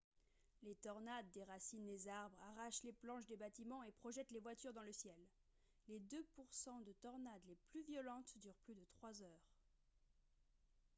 les tornades déracinent les arbres arrachent les planches des bâtiments et projettent les voitures dans le ciel les deux pour cent de tornades les plus violentes durent plus de trois heures